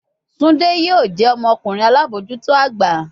Tunde yoo jẹ ọmọkunrin alabojuto agba